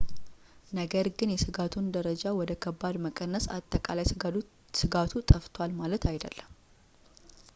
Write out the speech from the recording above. ነገር ግን የስጋቱን ደረጃ ወደ ከባድ መቀነስ አጠቃላይ ስጋቱ ጠፍቷል ማለት አይደለም